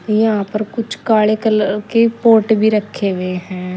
यहां पर कुछ काले कलर के पोर्ट भी रखे हुए हैं।